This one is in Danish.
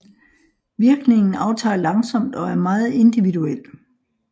Virkningen aftager langsomt og er meget individuel